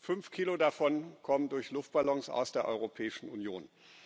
fünf Kilo davon kommen durch Luftballons aus der Europäischen Union.